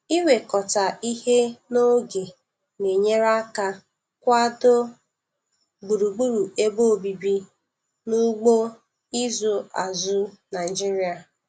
Iwekọta ihe n'oge na-enyere aka kwado gburugburu ebe obibi n' ugbo ịzụ azụ Naịjiria